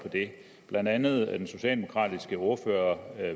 blandt andet siger den socialdemokratiske ordfører